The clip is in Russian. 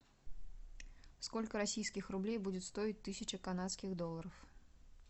сколько российских рублей будет стоить тысяча канадских долларов